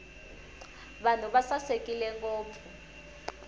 vanhu va sasekile ngopfu